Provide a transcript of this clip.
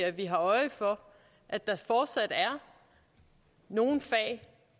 at vi har øje for at der fortsat er nogle fag